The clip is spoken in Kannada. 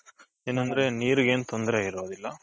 ಏನಂದ್ರೆ ನೀರ್ಗೆ ಏನೂ ತೊಂದ್ರೆ ಇರೋದಿಲ್ಲ.